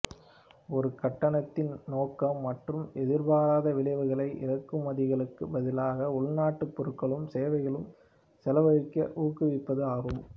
ஒரு கட்டணத்தின் நோக்கம் மற்றும் எதிர்பார்த்த விளைவுகளை இறக்குமதிகளுக்கு பதிலாக உள்நாட்டு பொருட்களிலும் சேவைகளிலும் செலவழிக்க ஊக்குவிப்பது ஆகும்